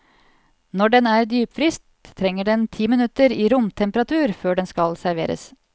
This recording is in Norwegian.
Når den er dypfryst, trenger den ti minutter i romtemperatur før den skal serveres.